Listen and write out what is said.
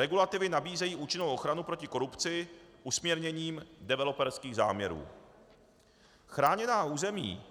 regulativy nabízející účinnou ochranu proti korupci usměrněním developerských záměrů; chráněná území,